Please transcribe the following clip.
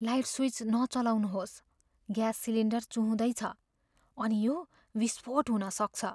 Light switch नचलाउनुहोस्। Gas cylinder चुहुँदै छ अनि यो विस्फोट हुन सक्छ।